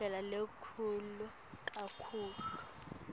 indlela lelula kakhulu